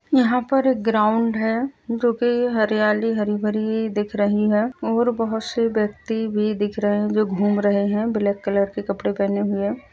यहां पर एक ग्राउंड है जो कि हरियाली हरी भरी दिख रही है और बहोत से व्यक्ति दिख रहे हैं जो घूम रहे हैं ब्लैक कलर के कपड़े पहने हुए।